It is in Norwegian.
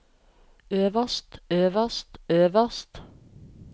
øverst øverst øverst